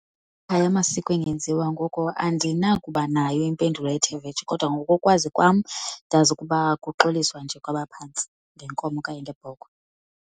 amasiko engenziwa ngoko andinakuba nayo impendulo ethe vetshe kodwa ngokokwazi kwam ndazi ukuba kuxoliswa nje kwabaphantsi ngenkomo okanye ngebhokhwe.